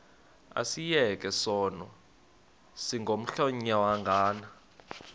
asiyeke sono smgohlwaywanga